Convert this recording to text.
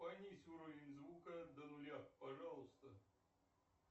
понизь уровень звука до нуля пожалуйста